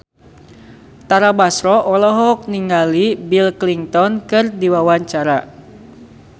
Tara Basro olohok ningali Bill Clinton keur diwawancara